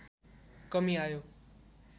कमी आयो